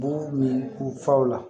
Bugu min u faw la